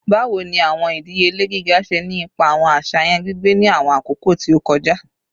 Bawo ni awọn idiyele giga ṣe ni ipa awọn aṣayan gbigbe ni awọn akoko ti o kọja?